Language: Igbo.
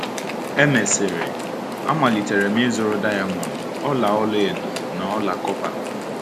E mesịrị, amalitere m izuru diamond, ọla ọla edo, na ọla kọpa.